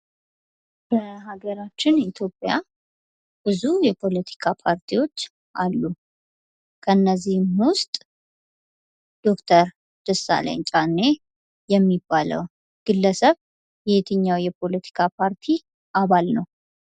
በሀገራችን ኢትዮጵያ ብዙ የፖለቲካ ፓርቲዎች አሉ። ከነዚህ፣ ም ዉስጥ ዶክተር ደሳለኝ ጫኔ የሚባለው ግለሰብ የየትኛው የፖለቲካ ፓርቲ አባል ነው?